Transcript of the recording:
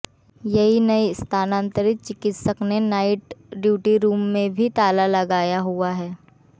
यही नहीं स्थानांतरित चिकित्सक ने नाईट ड्यूटी रूम में भी ताला लगाया हुआ है